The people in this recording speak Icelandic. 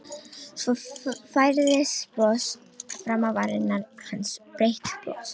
Svo færðist bros fram á varir hans, breitt bros.